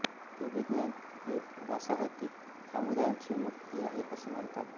ते विज्ञान हे वासाहतिक समुदायांची मुक्ती आहे असे मानतात